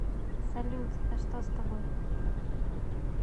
салют да что с тобой